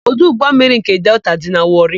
Ọdụ ụgbọmmiri nke Delta dị na Wọrị.